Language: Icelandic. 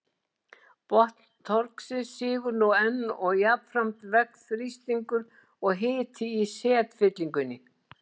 Botn trogsins sígur nú enn og jafnframt vex þrýstingur og hiti í setfyllingunni.